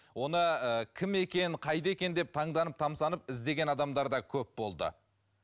оны ыыы кім екен қайда екен деп таңданып тамсанып іздеген адамдар да көп болды